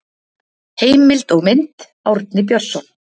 Heimild og mynd Árni Björnsson.